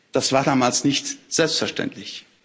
Das war damals nicht selbstverständlich.